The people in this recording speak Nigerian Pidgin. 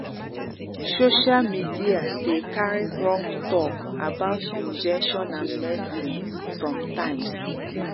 social media dey carry wrong talk about injection and medicine sometimes.